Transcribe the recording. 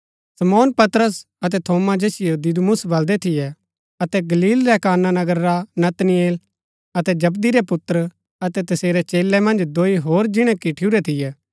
शमौन पतरस अतै थोमा जैसियो दिदुमुस बलदै थियै अतै गलील रै काना नगर रा नतनएल अतै जबदी रै पुत्र अतै तसेरै चेलै मन्ज दोई होर जिणै किठूरै थियै